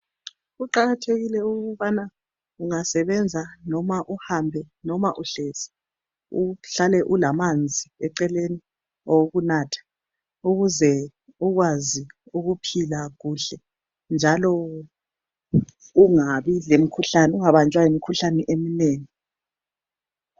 Kuqakathekile ukubana ungasebenza noma uhambe, noma uhlezi uhlale ulamanzi eceleni awokunatha ukuze ukwazi ukuphila kuhle njalo ungabanjwa yimikhuhlane eminengi.